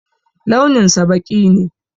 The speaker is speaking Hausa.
Launinsa ɓaki ne.